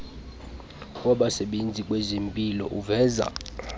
wabasebenzi kwezempilo uveza